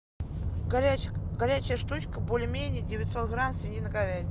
горячая штучка бульмени девятьсот грамм свинина говядина